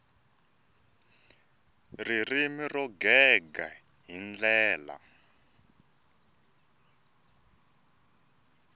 ririmi ro gega hi ndlela